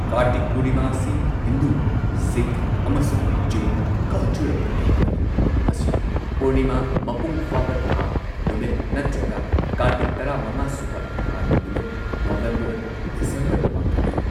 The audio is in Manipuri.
ꯀꯥꯔꯇꯤꯛ ꯄꯨꯔꯅꯤꯃꯥ ꯑꯁꯤ ꯍꯤꯟꯗꯨ, ꯁꯤꯈ ꯑꯃꯁꯨꯡ ꯖꯩꯟ ꯀꯜꯆꯔꯦꯜ ꯀꯨꯝꯍꯩ ꯑꯃꯅꯤ, ꯃꯁꯤ ꯄꯨꯔꯅꯤꯃꯥ ꯃꯄꯨꯡ ꯐꯥꯕ ꯊꯥ ꯅꯨꯃꯤꯠ ꯅꯠꯇ꯭ꯔꯒ ꯀꯥꯔꯇꯤꯛꯀꯤ ꯇꯔꯥꯃꯉꯥꯁꯨꯕ ꯊꯥꯒꯤ ꯅꯨꯃꯤꯠ ꯅꯣꯕꯦꯝꯕꯔ ꯗꯤꯁꯦꯝꯕꯔꯗ ꯗ ꯄꯥꯡꯊꯣꯛꯏ꯫